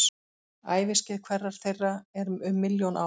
Æviskeið hverrar þeirra er um milljón ár.